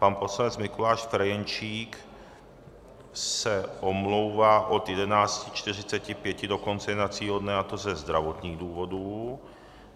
Pan poslanec Mikuláš Ferjenčík se omlouvá od 11.45 do konce jednacího dne, a to ze zdravotních důvodů.